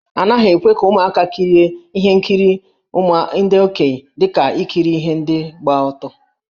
A naghị ekwe ka ụmụaka kirie ihe nkiri ndị okenye dị ka ikiri ndị gba ọtọ.